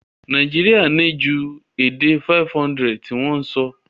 Naijiria ni ju èdè 500 ti won so